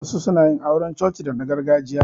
Wasu suna yin auran coci dana gargajiya.